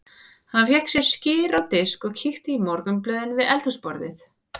Hann fékk sér skyr á disk og kíkti í morgunblöðin við eldhúsborðið.